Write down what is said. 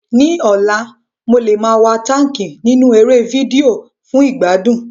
Ní ọ̀la, mo lè máa wa táńkì nínú eré fídíò fún ìgbádùn.